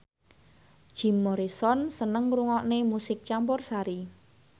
Jim Morrison seneng ngrungokne musik campursari